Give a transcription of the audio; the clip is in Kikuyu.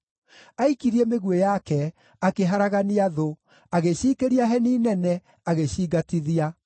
Aikirie mĩguĩ yake, akĩharagania thũ, agĩciikĩria heni nene, agĩcingatithia.